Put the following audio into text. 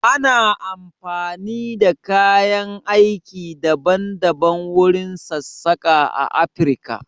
Ana amfani da kayan aiki daban daban wurin sassaƙa a Afirka.